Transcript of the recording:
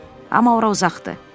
Amma ora uzaqdır.